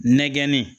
Nɛgɛn